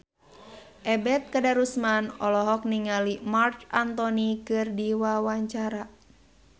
Ebet Kadarusman olohok ningali Marc Anthony keur diwawancara